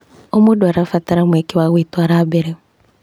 O mũndũ arabatara mweke wa gwĩtũara mbere.